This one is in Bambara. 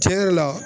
Tiɲɛ yɛrɛ la